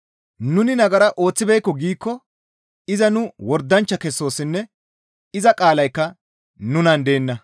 Nuni nagara ooththibeekko giikko iza nu wordanchcha kessoossinne iza qaalaykka nunan deenna.